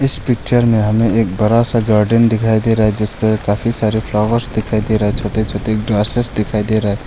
इस पिक्चर में हमें एक बड़ा सा गार्डन दिखाई दे रहा है जिस पर काफी सारे फ्लावर्स दिखाई दे रहा है छोटे छोटे ग्रासेस दिखाई दे रहा है।